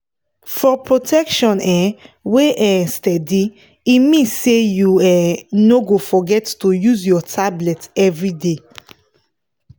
for protection um wey um steady e mean say you um no go forget to use your tablet everyday.